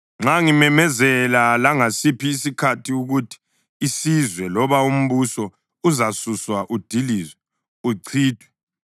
Nxa ngimemezela langasiphi isikhathi ukuthi isizwe loba umbuso uzasuswa udilizwe, uchithwe,